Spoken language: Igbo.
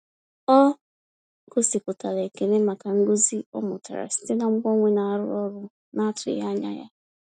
Ọ gosipụtara ekele maka nkuzi ọ mụtara site na mgbanwe na-arụ ọrụ na-atụghị anya ya.